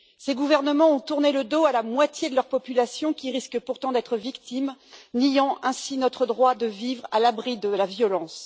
Ces gouvernements ont tourné le dos à la moitié de leur population, qui risque pourtant de devenir des victimes, niant ainsi notre droit de vivre à l'abri de la violence.